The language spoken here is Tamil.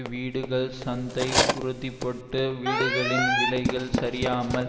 வீடுகள் சந்தை உறுதிப்பட்டு வீடுகளின் விலைகள் சரியாமல்